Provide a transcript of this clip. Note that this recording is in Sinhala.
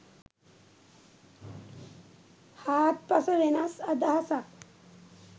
හාත්පස වෙනස් අදහසක්..